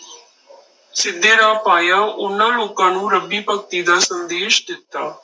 ਸਿੱਧੇ ਰਾਹ ਪਾਇਆ, ਉਹਨਾਂ ਲੋਕਾਂ ਨੂੰ ਰੱਬੀ ਭਗਤੀ ਦਾ ਸੰਦੇਸ਼ ਦਿੱਤਾ।